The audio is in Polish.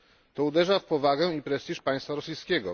To uderza w powagę i prestiż państwa rosyjskiego.